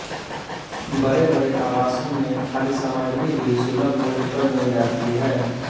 बड़े बड़े आवासों में खाद्य सामग्री भी सुलभ मूल्य पर मिल जाती है